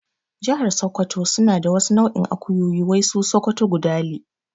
Jahar sakkwato suna da wasu nau'in akuyoyi wai su sokoto gudali